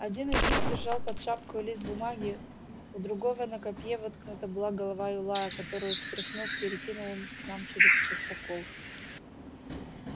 один из них держал под шапкою лист бумаги у другого на копье воткнута была голова юлая которую стряхнув перекинул он к нам чрез частокол